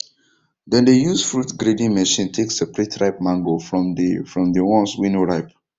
dem dey use fruit grading machine take separate ripe mango from dey from dey ones wey no ripe